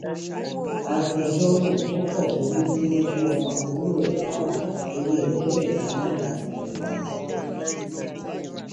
agbẹjọrò tó fọbẹ gbígbóná jọ ọmọ àbúrò ẹ lára torí ẹẹdẹgbẹta náírà ti dèrò ẹwọn